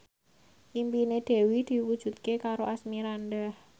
impine Dewi diwujudke karo Asmirandah